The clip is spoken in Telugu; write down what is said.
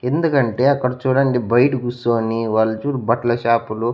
ఎందుకంటే అక్కడ చూడండి బైట కుసోని వాళ్ళు చూడు బట్ల షాపులు --